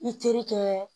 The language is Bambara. I teri kɛ